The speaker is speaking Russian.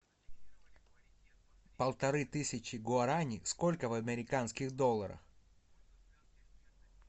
полторы тысячи гуарани сколько в американских долларах